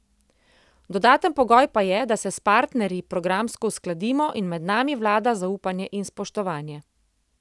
Dodaten pogoj pa je, da se s partnerji programsko uskladimo in med nami vlada zaupanje in spoštovanje.